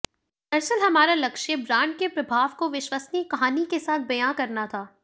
दरअसल हमारा लक्ष्य ब्रांड के प्रभाव को विश्वसनीय कहानी के साथ बयां करना था